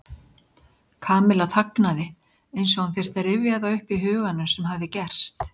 Kamilla þagnaði eins og hún þyrfti að rifja það upp í huganum sem hafði gerst.